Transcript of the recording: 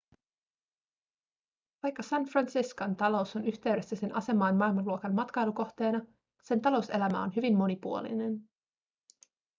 vaikka san franciscon talous on yhteydessä sen asemaan maailmanluokan matkailukohteena sen talouselämä on hyvin monipuolinen